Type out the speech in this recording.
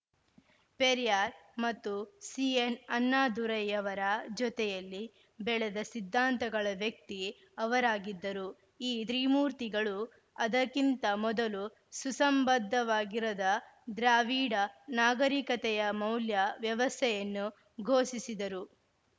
ಪೆರಿಯಾರ್‌ ಮತ್ತು ಸಿಎನ್‌ಅಣ್ಣಾದುರೈಯವರ ಜೊತೆಯಲ್ಲಿ ಬೆಳೆದ ಸಿದ್ಧಾಂತಗಳ ವ್ಯಕ್ತಿ ಅವರಾಗಿದ್ದರು ಈ ತ್ರಿಮೂರ್ತಿಗಳು ಅದಕ್ಕಿಂತ ಮೊದಲು ಸುಸಂಬದ್ಧವಾಗಿರದ ದ್ರಾವೀಡ ನಾಗರಿಕತೆಯ ಮೌಲ್ಯ ವ್ಯವಸ್ಥೆಯನ್ನು ಪೋಷಿಸಿದರು